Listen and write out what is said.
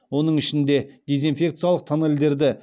оның ішінде дезинфекциялық тоннельдерді